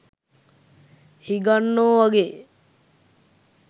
හිඟන්නෝ වගේ